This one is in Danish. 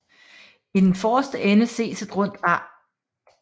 I den forreste ende ses et rundt ar